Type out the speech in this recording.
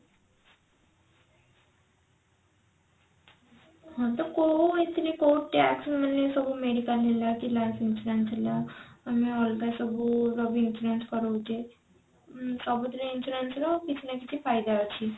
ହଁ ତ କୋଉଥିରେ କଉ tax ରୁ ମାନେ ସବୁ medical ହେଲା କି life insurance ହେଲା ଆମେ ଅଲଗା ସବୁର ବି insurance କରଉଛେ ଉଁ ସବୁ ଥିରେ insurance ର କିଛି ନା କିଛି ଫାଇଦା ଅଛି